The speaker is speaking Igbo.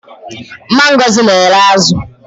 Mama Ngozi n'ere azu